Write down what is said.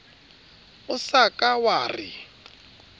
o sa ka wa re